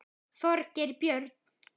Þorgeir Björn.